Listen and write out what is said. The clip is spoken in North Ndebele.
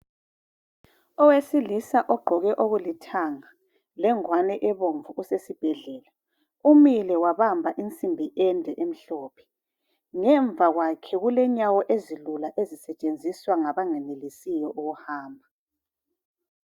Owesilisa ogqoke okulithanga lengwane ebomvu usesibhedlela. Umile wabamba insimbi ende emhlophe. Ngemva kwakhe kulenyawo ezilula ezisetshenziswa ngabangenelisiyo ukuhamba.